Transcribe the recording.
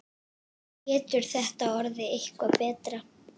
Getur þetta orðið eitthvað betra?